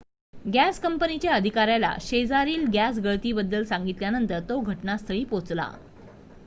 gas कंपनीच्या अधिकाऱ्याला शेजारील गॅस गळती बद्दल सांगितल्यानंतर तो घटनास्थळी पोहोचला